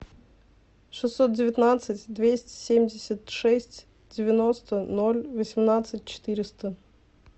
шестьсот девятнадцать двести семьдесят шесть девяносто ноль восемнадцать четыреста